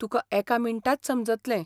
तुका एका मिनटांत समजतलें.